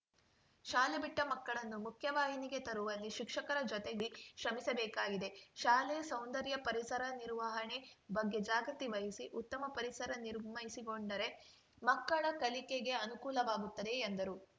ಶಾಲೆ ಬಿಟ್ಟಮಕ್ಕಳನ್ನು ಮುಖ್ಯವಾಹಿನಿಗೆ ತರುವಲ್ಲಿ ಶಿಕ್ಷಕರ ಜೊತೆಡಿ ಶ್ರಮಿಸಬೇಕಿದೆ ಶಾಲೆ ಸೌಂದರ್ಯ ಪರಿಸರ ನಿರ್ವಹಣೆ ಬಗ್ಗೆ ಜಾಗೃತಿ ವಹಿಸಿ ಉತ್ತಮ ಪರಿಸರ ನಿರ್ಮಿಸಿಕೊಂಡರೆ ಮಕ್ಕಳ ಕಲಿಕೆಗೆ ಅನುಕೂಲವಾಗುತ್ತದೆ ಎಂದರು